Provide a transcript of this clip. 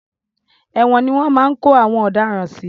Ẹ̀wòn ni wọ́n máa ń kó àwọn ọ̀daràn sí.